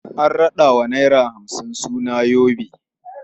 An raɗa wa naira hamsin suna yobe.